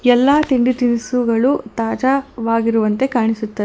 ಎಲ್ಲಾ ತಿಂಡಿ ತಿನಿಸುಗಳು ತಾಜಾವಾಗಿರುವಂತೆ ಕಾಣಿಸುತ--